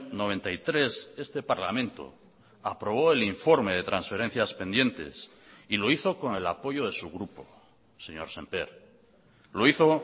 noventa y tres este parlamento aprobó el informe de transferencias pendientes y lo hizo con el apoyo de su grupo señor sémper lo hizo